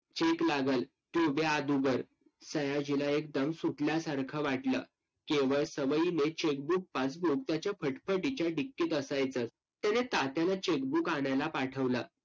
cheque लागंल, ते द्या अदूगर. सयाजीला एकदम सुटण्यासारखं वाटलं. केवळ सवयीने chequebookpaassbook त्याच्या फटफटीच्या डिक्कीत असायचं. त्याने तात्याला cheque book आणायला पाठवलं.